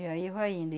E aí vai indo.